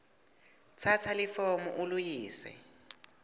tsatsa lifomu uliyise